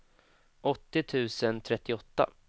åttio tusen trettioåtta